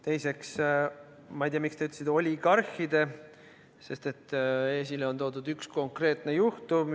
Teiseks, ma ei tea, miks te ütlesite "oligarhide", sest esile on toodud üks konkreetne juhtum.